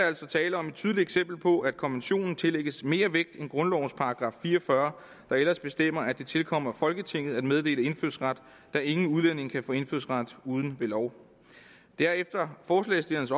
altså tale om et tydeligt eksempel på at konventionen tillægges mere vægt end grundlovens § fire og fyrre der ellers bestemmer at det tilkommer folketinget at meddele indfødsret da ingen udlænding kan få indfødsret uden ved lov det er efter forslagsstillernes